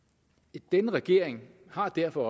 denne regering har derfor